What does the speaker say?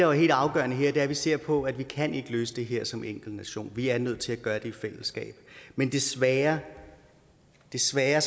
er helt afgørende her er at vi ser på at vi ikke kan løse det her som enkeltnation vi er nødt til at gøre det i fællesskab men desværre desværre